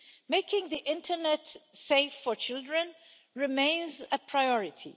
Making the internet safe for children remains a priority.